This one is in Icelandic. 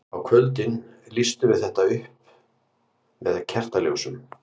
Á kvöldin lýstum við þetta upp með kertaljósum.